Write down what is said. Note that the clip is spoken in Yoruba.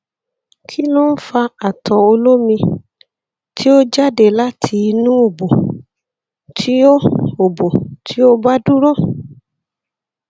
kí ló ń fa ato olomi tí ó jáde láti inú obo tí ó obo tí ó ba dúró